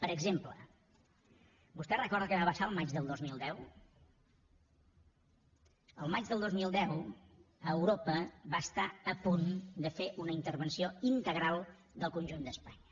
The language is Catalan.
per exemple vostè recorda què va passar el maig del dos mil deu el maig del dos mil deu europa va estar a punt de fer una intervenció integral del conjunt d’espanya